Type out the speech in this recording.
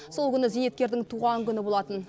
сол күні зейнеткердің туған күні болатын